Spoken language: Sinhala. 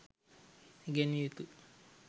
ඉගැන්විය යුතුයි.